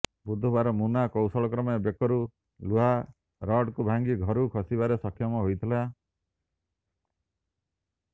ବୁଧବାର ମୁନା କୌଶଳକ୍ରମେ ବେକରୁ ଲୁହାରଡ଼କୁ ଭାଙ୍ଗି ଘରୁ ଖସିବାରେ ସକ୍ଷମ ହୋଇଥିଲା